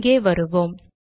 இங்கே வருவோம்